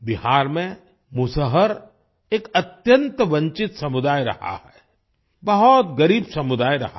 बिहार में मुसहर एक अत्यंत वंचित समुदाय रहा है बहुत गरीब समुदाय रहा है